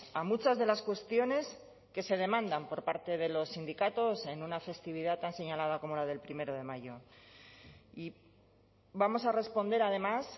a muchas de las cuestiones que se demandan por parte de los sindicatos en una festividad tan señalada como la del primero de mayo y vamos a responder además